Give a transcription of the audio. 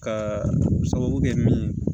Ka sababu kɛ min ye